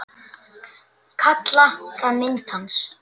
Kalla fram mynd hans.